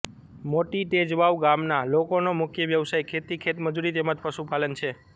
મોટી તેજવાવ ગામના લોકોનો મુખ્ય વ્યવસાય ખેતી ખેતમજૂરી તેમ જ પશુપાલન છે